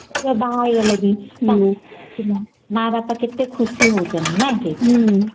ପିଲା ବାହା ହେଇ ଗଲେବି....... ହୁଁ ମା ବାପା କେତେ ଖୁସି ହଉଛନ୍ତି ନାଁ କି